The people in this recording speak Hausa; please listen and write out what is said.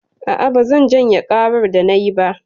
A'a, bazan janye ƙarar da nayi ba.